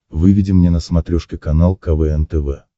выведи мне на смотрешке канал квн тв